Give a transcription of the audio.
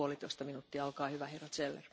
Frau Präsidentin, Herr Kommissar!